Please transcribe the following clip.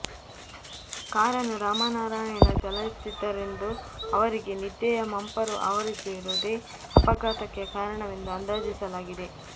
ಕಾರನ್ನು ರಾಮನಾರಾಯಣ ಚಲಾಯಿಸುತ್ತಿದ್ದರೆಂದೂ ಅವರಿಗೆ ನಿದ್ದೆಯ ಮಂಪರು ಆವರಿಸಿರುವುದೇ ಅಪಘಾತಕ್ಕೆ ಕಾರಣವೆಂದು ಅಂದಾಜಿಸಲಾಗಿದೆ